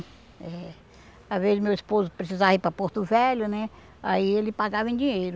Às vezes meu esposo precisava ir para Porto Velho, né aí ele pagava em dinheiro.